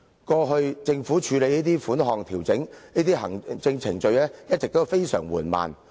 過去政府處理調整這些款項等行政程序時，一直非常緩慢。